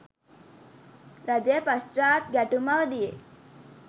රජය පශ්චාත් ගැටුම් අවධියේ